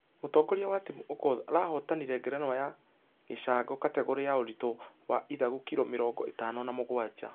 Mũtongoria wa timŭ okoth arahotanire ngerenwa ya gĩcangokategore ya ũritũ wa ithagu kiro mĩrongo ĩtano na mũgwaja.